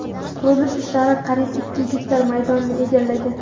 Qurilish ishlari qariyb ikki gektar maydonni egallagan.